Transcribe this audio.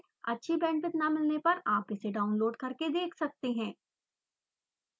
अच्छी bandwidth न मिलने पर आप इसे download करके देख सकते हैं